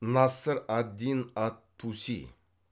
насыр ад дин ат туси